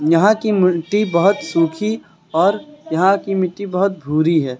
यहां की मिट्टी बहोत सुखी और यहां की मिट्टी बहोत भूरी है।